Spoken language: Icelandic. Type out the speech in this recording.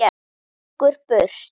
Gengur burt.